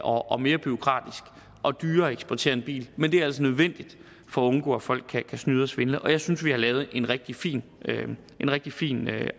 og mere bureaukratisk og dyrere at eksportere en bil men det er altså nødvendigt for at undgå at folk kan snyde og svindle og jeg synes vi har lavet en rigtig fin rigtig fin